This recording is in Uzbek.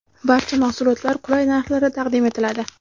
Barcha mahsulotlar qulay narxlarda taqdim etiladi.